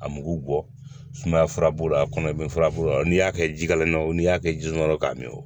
A mugu bɔ sumaya furabulu a kɔnɔ i bɛ furabulu la n'i y'a kɛ ji kala kɔnɔ n'i y'a kɛ ji suma yɔrɔ k'a min